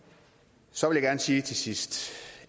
så vil jeg gerne sige til sidst